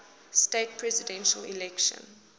states presidential election